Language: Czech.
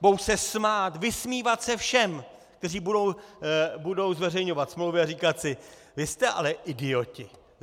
Budou se smát, vysmívat se všem , kteří budou zveřejňovat smlouvy, a říkat si: Vy jste ale idioti!